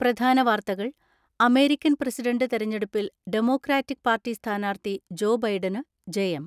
പ്രധാന വാർത്തകൾ American president തെരഞ്ഞെടുപ്പിൽ ഡെമോക്രാറ്റിക് പാർട്ടി സ്ഥാനാർത്ഥി ജോ ബൈഡന് ജയം.